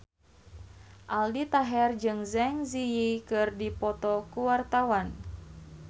Aldi Taher jeung Zang Zi Yi keur dipoto ku wartawan